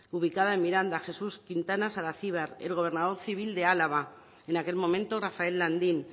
ubicada en miranda jesús quintana saracibar el gobernador civil de álava en aquel momento rafael landín